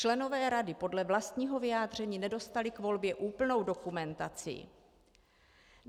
Členové rady podle vlastního vyjádření nedostali k volbě úplnou dokumentaci.